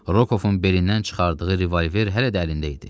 Rokovun belindən çıxardığı revolver hələ də əlində idi.